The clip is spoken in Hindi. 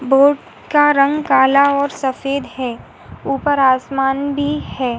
बोट का रंग काला और सफ़ेद है। ऊपर आसमान भी है।